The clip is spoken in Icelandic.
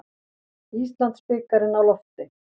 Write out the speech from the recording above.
Íslandsbikarinn á lofti